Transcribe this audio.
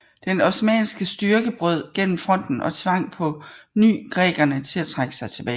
Den osmanniske styrke brød gennem fronten og tvang på ny grækerne til at trække sig tilbage